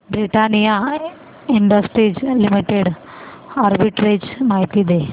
Britannia Industries Limited arbitrage माहिती दे